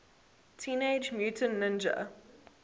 teenage mutant ninja